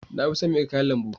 Na fi son miya kayan lambu